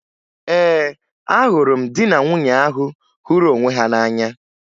Ee, ahụrụ m di na nwunye ahụ hụrụ onwe ha n'anya